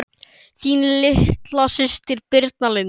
Þín litla systir Birna Lind.